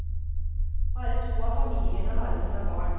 Bare to av familiene har med seg barn.